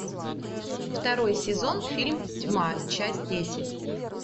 второй сезон фильм тьма часть десять